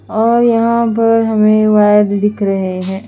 और यहाँ पर हमे वाइल दिख रहे है।